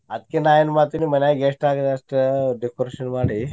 ಅದ್ಕೆ ನಾ ಏನ್ ಮಾಡ್ತೇನೀ ಮನ್ಯಾಗ ಎಷ್ಟಾಗದ ಅಷ್ಟ decoration ಮಾಡಿ.